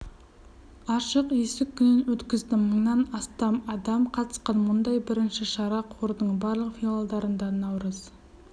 ашық есік күнін өткізді мыңнан астам адам қатысқан мұндай бірінші шара қордың барлық филиалдарында наурыз